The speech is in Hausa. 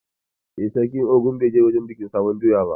A'a, sarkin Ogun bai je wurin bikin sabon doya ba.